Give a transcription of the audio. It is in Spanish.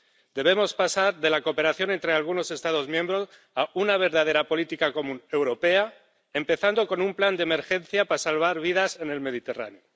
Debemos pasar de la cooperación entre algunos Estados miembros a una verdadera política común europea, empezando con un plan de emergencia para salvar vidas en el Mediterráneo.